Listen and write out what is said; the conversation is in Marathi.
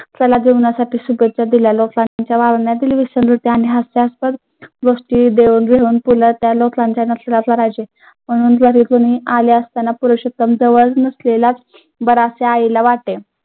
कला जीवनासाठी शुभेच्छा दिल्या. आईला वाटे.